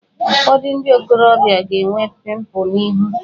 Ụfọdụ ndị ntorobịa ga-enwe pịmpụl n'ihu